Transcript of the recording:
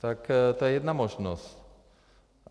Tak to je jedna možnost.